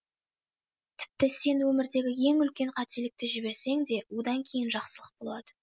тіпті сен өмірдегі ең үлкен қателікті жіберсең де одан кейін жақсылық болады